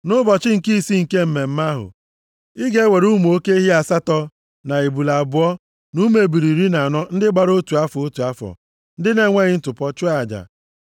“ ‘Nʼụbọchị nke isii nke mmemme ahụ, ị ga-ewere ụmụ oke ehi asatọ, na ebule abụọ, na ụmụ ebule iri na anọ ndị gbara otu afọ, otu afọ, ndị na-enweghị ntụpọ, chụọ aja.